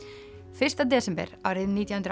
fyrsta desember árið nítján hundruð